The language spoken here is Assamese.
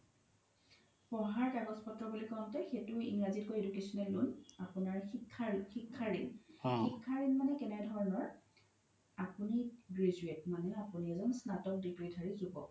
পঢ়া কাগজ পত্ৰ বুলি কওতে সেইতো ইংৰাজীত কই educational loan আপোনাৰ শিক্ষাৰ ৰিন শিক্ষাৰ ৰিন মানে কেনে ধৰণৰ আপোনি এজ্ন graduate মানে আপোনি এজ্ন স্নাতক degree ধাৰি জোবক